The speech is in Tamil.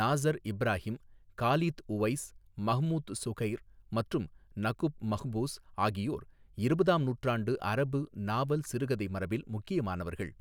Nassar Ibrahim, Khalid Uwais, Mahmoud Shukair மற்றும் நகுப் மஹ்பூஸ் ஆகியோர் இருபதாம் நூற்றாண்டு அரபு நாவல், சிறுகதை மரபில் முக்கியமானவர்கள்.